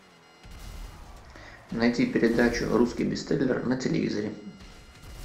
найти передачу русский бестселлер на телевизоре